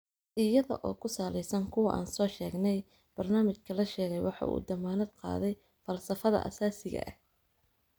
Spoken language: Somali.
Iyada oo ku saleysan kuwa aan soo sheegnay, barnaamijka la sheegay waxa uu u dammaanad qaaday falsafada aasaasiga ah.